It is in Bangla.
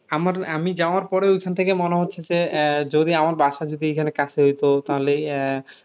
আমার আমি যাওয়ার পরে ওইখান থেকে মনে হচ্ছে যে আহ যদি আমার বাসা যদি এখানে কাছে হয়তো তালে ইয়া